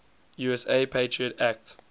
usa patriot act